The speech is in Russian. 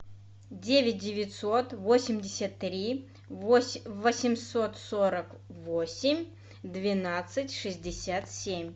девять девятьсот восемьдесят три восемьсот сорок восемь двенадцать шестьдесят семь